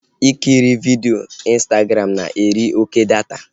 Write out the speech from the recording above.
Ikiri vidio Ịnstagram na-eri oké data